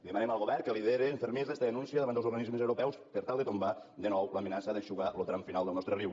demanem al govern que lidere amb fermesa esta denúncia davant dels organismes europeus per tal de tombar de nou l’amenaça d’eixugar lo tram final del nostre riu